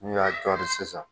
N' y'a dɔɔnin sisan